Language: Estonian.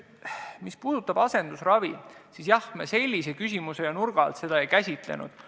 Mis puudutab asendusravi, siis sellise nurga alt me seda ei käsitlenud.